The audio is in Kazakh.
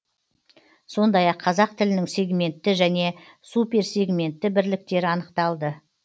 сондай ақ қазақ тілінің сегментті және суперсегментті бірліктері анықталды